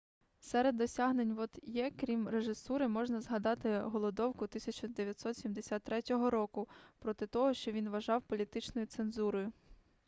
серед досягнень вот'є крім режисури можна згадати голодовку 1973 року проти того що він вважав політичною цензурою